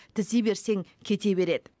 тізе берсең кете береді